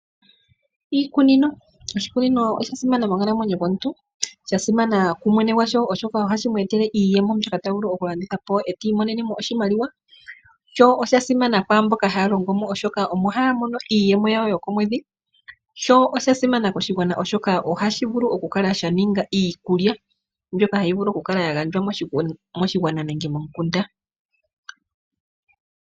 Iikunino Oshikunino osha simana monkalamwenyo yomuntu. Sha simana kumwene gwasho, oshoka ohashi mu etele iiyemo, sho osha simana kwaamboka haya longo mo, oshoka omo haya mono iiyemo yawo yokomwedhi, sho osha simana koshigwana, oshoka ohashi vulu okukala sha ninga iikulya mbyoka hayi vulu okukala ya gandjwa moshigwana nenge momukunda.